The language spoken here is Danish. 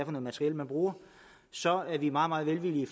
materiel man bruger så er vi meget meget velvillige